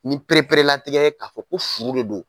Ni pereperelatigɛ ye k'a fɔ ko furu de don